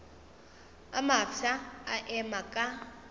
a mafsa a ema ka